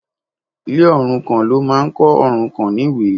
Ile òrukàn ló máa ń kọ́ òrukàn níwe